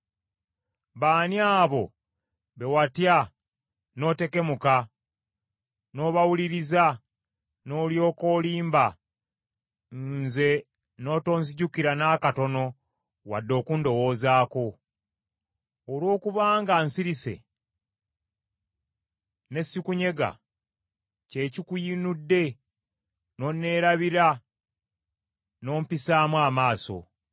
“B’ani abo be watya n’otekemuka n’obawuliriza, n’olyoka olimba, nze n’otonzijukira n’akatono wadde okundowoozaako? Olw’okubanga nsirise n’esikunyega ky’ekikuyinudde n’onneerabira n’ompisaamu amaaso.